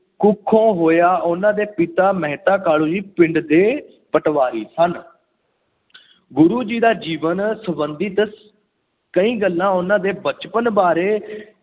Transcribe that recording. ਕੁੱਖੋ ਹੋਇਆ। ਉਹਨਾਂ ਦੇ ਪਿਤਾ ਮਹਿਤਾ ਕਾਲੂ ਜੀ ਪਿੰਡ ਦੇ ਪਟਵਾਰੀ ਸਨ। ਗੁਰੂ ਜੀ ਦਾ ਜੀਵਨ ਸੰਬੰਧਿਤ ਕਈ ਗੱਲਾਂ ਉਹਨਾ ਦੇ ਬਚਪਨ ਬਾਰੇ